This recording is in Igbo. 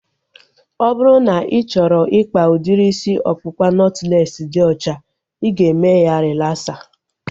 Ọ bụrụ na ị chọrọ ikpa udiri isi ọkpụkpa nọtlees dị ọcha, ị ga-eme ya relaksa